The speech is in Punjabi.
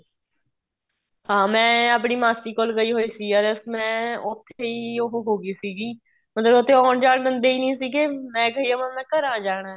ਹਾਂ ਮੈਂ ਆਪਣੀ ਮਾਸੀ ਕੋਲ ਗਈ ਹੋਈ ਸੀ ਮੈਂ ਉੱਥੇ ਉਹ ਹੋ ਗਈ ਸੀਗੀ ਮਤਲਬ ਉੱਥੇ ਆਉਣ ਜਾਣ ਦਿੰਦੇ ਹੀ ਨਹੀਂ ਸੀਗੇ ਮੈਂ ਕਹਿ ਜਾਵਾਂ ਮੈਂ ਘਰਾਂ ਜਾਣਾ